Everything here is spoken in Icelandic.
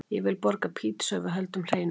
Ég vil borga pizzu ef við höldum hreinu.